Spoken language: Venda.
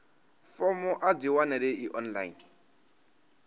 fomo a dzi wanalei online